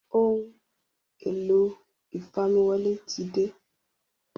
Ohun èlò ìfamiwọlé tí dé